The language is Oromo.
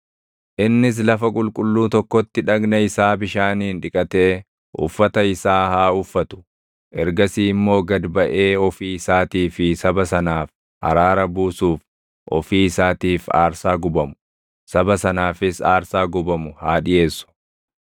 Innis lafa qulqulluu tokkotti dhagna isaa bishaaniin dhiqatee uffata isa haa uffatu; ergasii immoo gad baʼee ofii isaatii fi saba sanaaf araara buusuuf, ofii isaatiif aarsaa gubamu, saba sanaafis aarsaa gubamu haa dhiʼeessu.